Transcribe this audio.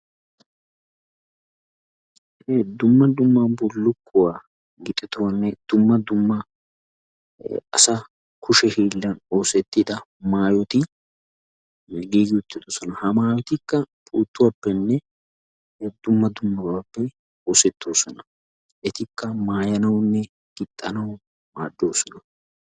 dumma dumma bullukuwaa gixetuwaanne dumma dumma asa kushehiillan osettida maayoti giigi uttidosona ha maayotikka puuttuwappenne dumma dummabaappe oosettoosona etikka mayanaayoonne gixxanawu maaddoosona.